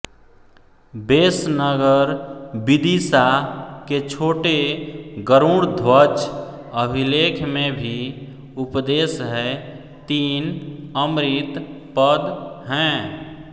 बेसनगर विदिशा के छोटे गरूड़ध्वज अभिलेख में भी उपदेश है तीन अमृत पद हैं